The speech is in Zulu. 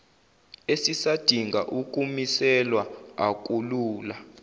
esisadinga ukumiselwa akulula